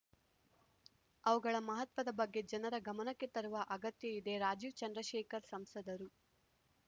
ಅವುಗಳ ಮಹತ್ವದ ಬಗ್ಗೆ ಜನರ ಗಮನಕ್ಕೆ ತರುವ ಅಗತ್ಯ ಇದೆ ರಾಜೀವ್‌ ಚಂದ್ರಶೇಖರ್‌ ಸಂಸದರು